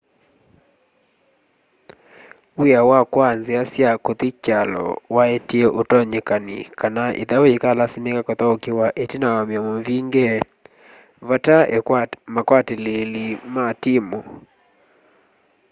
w'ia wa kwaa nzia sya kuthi kyalo waetie utonyekani kana ithau yikalasimika kuthaukiwa itina wa miomo mivinge vatai akwatiliili ma timu